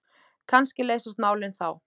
Kannski leysast málin þá.